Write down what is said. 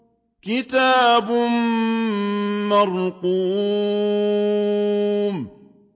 كِتَابٌ مَّرْقُومٌ